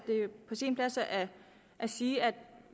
på sin plads at sige at